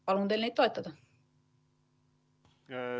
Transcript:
Palun teil neid toetada!